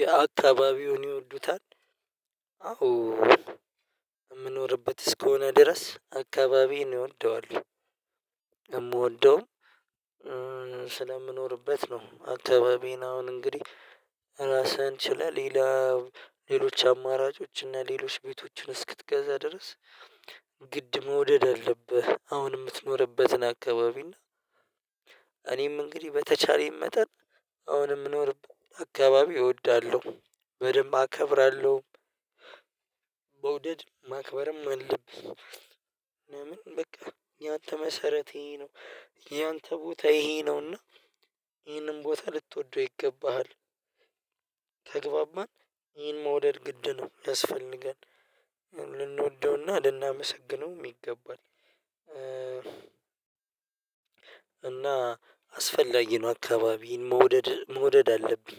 የአካባቢውን ይወዱታል? አዎ የምኖርበት እስከሆነ ድረስ አካባቢዬን እወደዋለሁ። የምወደውም ነው አካባቢዬን አሁን እንግዲህ ራስህን ችለህ ሌላ ሌሎች አማራጮች እና ሌሎች ቤቶችን እስክትገዛ ድረስ ግድ መውደድ አለብህ። አሁን የምትኖርበትን አካባቢ እና እኔም እንግዲህ በተቻለኝ መጠን አሁን የምኖርበት አካባቢ እወዳለሁ በደንብ አከብራለሁ። መውደድ ማክበርም አለብኝ ምን በቃ ያንተ መሰረቴ ነው። ያንተ ቦታ ይሄ ነውና ይሄንን ቦታ ልትወደው ይገባሃል። ተግባባን ይሄን መውደድ ግድ ነው ያስፈልጋል ልንወደውና ልናመሰግነው ይገባል። እና አስፈላጊ ነው አካባቢን መውደድ መውደድ አለብኝ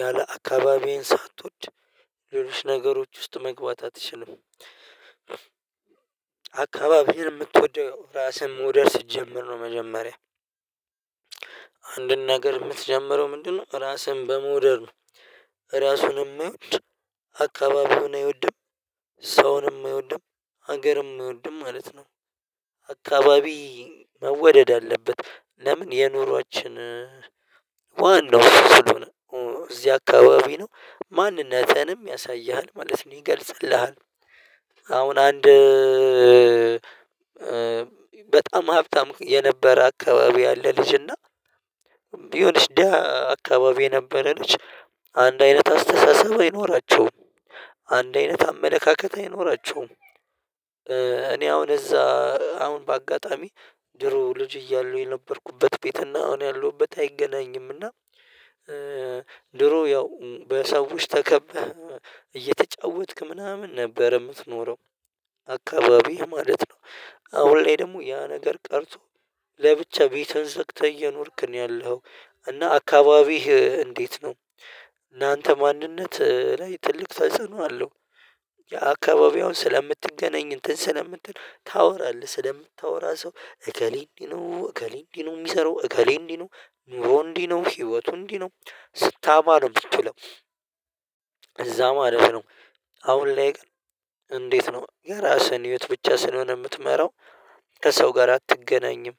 ያለ አካባቢዬን ሳትወድ ሌሎች ነገሮች ውስጥ መግባት አትችልም። አካባቢህን የምትወደው ራስህን መውደድ ስትጀምር ነው። መጀመሪያ አንድን ነገር የምትጀምረው ምንድነው? ራስህን በመውደድ ነው ራሱን ማይወድ አካባቢውን አይወድም ሰውንም አይወድም ሀገርም አይወድም ማለት ነው። አካባቢ መወደድ አለበት ለምን የኑሮአችን ዋናው ስለሆነ እዚህ አካባቢ ነው ማንነትህንም ያሳይሃል ማለት ነው ይገልጽልሃል። አሁን አንድ በጣም ሀብታም የነበረ አካባቢ ያለ ልጅና የሆነች ደሃ አካባቢ የነበረ ልጅ አንድ አይነት አስተሳሰብ አይኖራቸውም። አንድ አይነት አመለካከት አይኖራቸውም። እኔ አሁን እዛ አሁን በአጋጣሚ ድሮ ልጅ እያለው የነበርኩበት ቤት እና አሁን ያለሁበት አይገናኝም። እና ድሮ ያው በሰዎች ተከበህ እየተጫወትክ ምናምን ነበር የምትኖረው አካባቢህ ማለት ነው። አሁን ላይ ደግሞ ያ ነገር ቀርቶ ለብቻ ቤትህን ዘግተህ እየኖርክ ነው ያለኸው። እና አካባቢህ እንዴት ነው እናንተ ማንነት ላይ ትልቅ ተጽዕኖ አለው። የአካባቢውን ስለምትገናኝ እንትን ስለምትል ታወራለህ ስለምታወራ ሰው እከሌ እንዲህ ነው እከሌ እንዲህ ነው የሚሰራው እከሌ እንዲህ ነው ኑሮ እንዲህ ነው ህይወቱ እንዲህ ነው ስታማ ነው የምትለው። እዛ ማለት ነው። አሁን ላይ ግን እንዴት ነው የራስህን ህይወት ብቻ ስለሆነ የምትመራው? ከሰው ጋር አትገናኝም።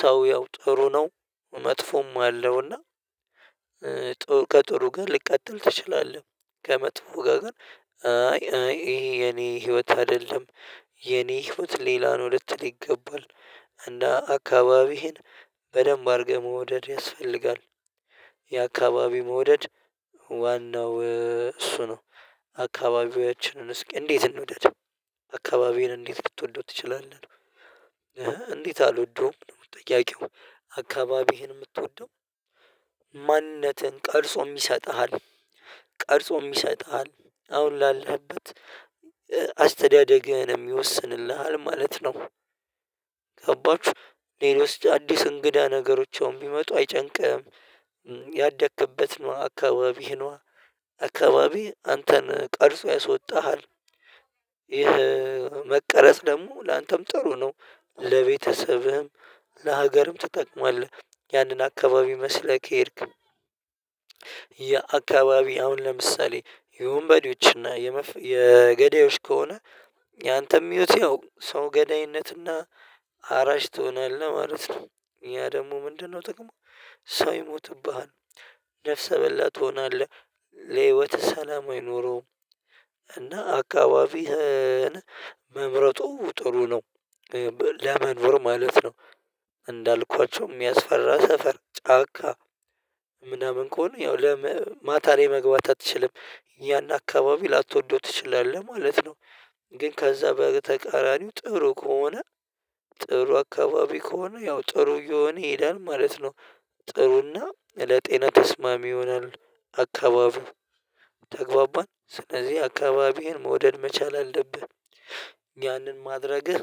ሰው ያው ጥሩ ነው መጥፎም አለውና ጥሩ ከጥሩ ጋር ልቀጥል ትችላለህ? ከመጥፎ ጋር ግን አይ አይ ይሄ የኔ ህይወት አይደለም የኔ ህይወት ሌላ ነው ልትል ይገባል። እንደ አካባቢህን በደንብ አድርገህ መውደድ ያስፈልጋል። የአካባቢህ መውደድ ዋናው እሱ ነው። አካባቢያችንን እስኪ እንዴት እንውደድ አካባቢዬን እንዴት ልትወደው ትችላለህ? እንዴት አልወደውም ጥያቄው። አካባቢህን የምትወደው ማንነትህን ቀርጾም ይሰጥሃል ቀርጾም ይሰጥሃል አሁን ላለህበት አስተዳደግህንም ይወስንልሃል ማለት ነው። ገባችሁ ኔሪዮስ አዲስ እንግዳ ነገሮች አሁን ቢመጡ አይጨንቅህም። ያደክበት ነዋ አካባቢህ ነዋ አካባቢ አንተን ቀርጾ ያሶጣሃል። ይሄ መቀረጽ ደግሞ ላንተም ጥሩ ነው ለቤተሰብህም ለሀገርም ትጠቅማለህ ያንን አካባቢ መስለህ ከሄድክ። የአካባቢ አሁን ለምሳሌ የወንበዴዎችና የገዳዮች ከሆነ ያንተም ህይወትህ ያው ሰው ገዳይነትና አራጅ ትሆናለህ ማለት ነው። ያ ደግሞ ምንድነው ጥቅሙ? ሰው ይሞትብሃል ነፍሰ በላ ትሆናለህ ለህይወትህ ሰላም አይኖረውም። እና አካባቢህን መምረጡ ጥሩ ነው። ለመኖር ማለት ነው። እንዳልኳቸውም የሚያስፈራ ሰፈር ጫካ ምናምን ከሆነ ያው ለመ ማታ ላይ መግባት አትችልም። ያን አካባቢ ላትወደው ትችላለህ ማለት ነው። ግን ከዛ በተቃራኒው ጥሩ ከሆነ ጥሩ አካባቢ ከሆነ ያው ጥሩ እየሆነ ይሄዳል ማለት ነው። ጥሩና ለጤና ተስማሚ ይሆናል አካባቢው ተግባባን ስለዚህ አካባቢህን መውደድ መቻል አለብህ። ያንን ማድረግህ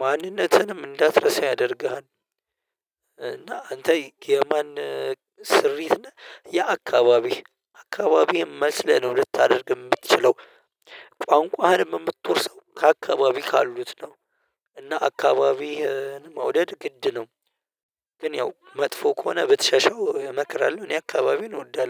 ማንነትህንም እንዳትረሳ ያደርግሃል። እና አንተ የማን ስሪት ነህ? የአካባቢህ አካባቢህን መስለህ ነው ልታደርግ የምትችለው ቋንቋህንም የምትወርሰው ከአካባቢ ካሉት ነው። እና አካባቢህን መውደድ ግድ ነው። ግን ያው መጥፎ ከሆነ ብትሸሸው እመክራለሁ። እኔ አካባቢዬን እወዳለሁ